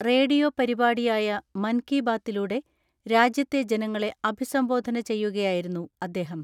Radio പരിപാടിയായ മൻ കി ബാതിലൂടെ രാജ്യത്തെ ജനങ്ങളെ അഭിസംബോധന ചെയ്യുകയായിരുന്നു അദ്ദേഹം.